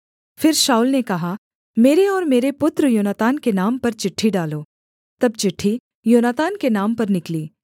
फिर शाऊल ने कहा मेरे और मेरे पुत्र योनातान के नाम पर चिट्ठी डालो तब चिट्ठी योनातान के नाम पर निकली